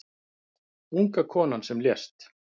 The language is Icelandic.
Unga konan sem lést